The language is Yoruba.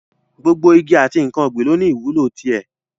Gbogbo igi àti n̄ǹkan ọ̀gbìn lọ ní ìwúlò ti ẹ̀.